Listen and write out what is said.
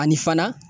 Ani fana